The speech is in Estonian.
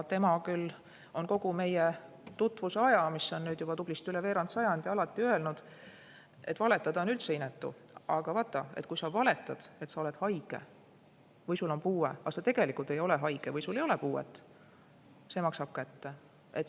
Tema küll on kogu meie tutvuse ajal, mida on nüüd juba tublisti üle veerand sajandi, alati öelnud, et valetada on üldse inetu, aga kui sa valetad, et sa oled haige või sul on puue, aga tegelikult sa ei ole haige või sul ei ole puuet, siis see maksab kätte.